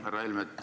Härra Helme!